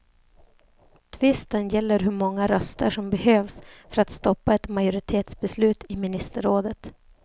Tvisten gäller hur många röster som behövs för att stoppa ett majoritetsbeslut i ministerrådet.